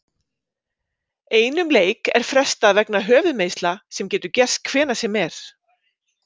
Einum leik er frestað vegna höfuðmeiðsla sem getur gerst hvenær sem er.